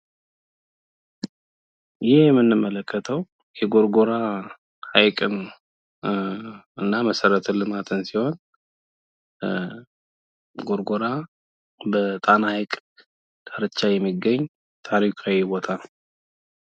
ይህ የምንመለከተው የጎርጎራን ሀይቅን እና መሰረተ ልማትን ሲሆን ጎርጎራ በጣና ሀይቅ ዳርቻ የሚገኝ ታሪካዊ ቦታ ነው።